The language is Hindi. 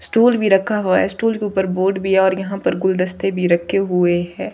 स्टूल भी रखा हुआ है स्टूल के ऊपर बोर्ड भी है और यहां पर गुलदस्ते भी रखे हुए है।